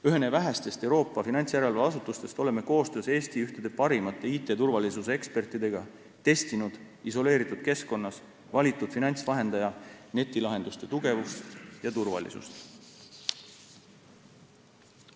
Ühena vähestest Euroopa finantsjärelevalveasutustest oleme koostöös Eesti parimate IT-turvalisuse ekspertidega testinud isoleeritud keskkonnas valitud finantsvahendaja netilahenduste tugevust ja turvalisust.